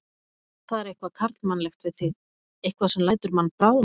Það er eitthvað karlmannlegt við þig, eitthvað sem lætur mann bráðna.